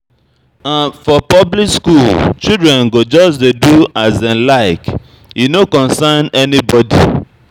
For public skool, children go just dey do as dem like, e no concern anybodi.